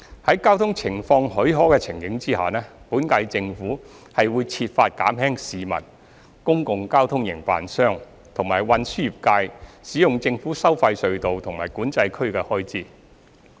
在交通情況許可的情形下，本屆政府會設法減輕市民、公共交通營辦商及運輸業界使用政府收費隧道和管制區的開支。